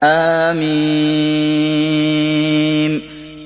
حم